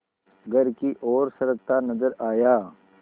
घर की ओर सरकता नजर आया